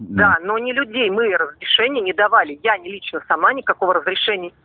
да но не людей разрешения не давали я лично сама никокого разрешения